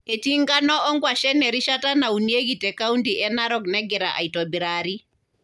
Etii enkano o nkuashen erishata naunieki te kaunti e Narok negira aitobirari.